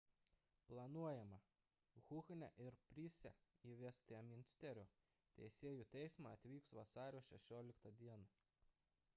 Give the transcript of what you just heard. planuojama huhne ir pryce į vestminsterio teisėjų teismą atvyks vasario 16 d